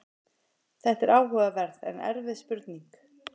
Þetta er áhugaverð en erfið spurning.